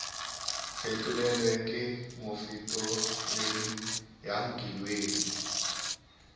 fetolelwe ke mofetoledi ya nkileng